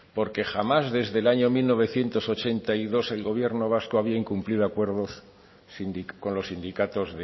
porque jamás desde el año mil novecientos ochenta y dos el gobierno vasco había incumplido acuerdos con los sindicatos